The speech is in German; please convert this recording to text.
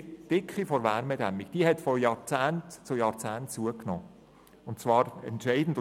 Die Dicke der Wärmedämmung hat von Jahrzehnt zu Jahrzehnt zugenommen, und zwar entscheidend.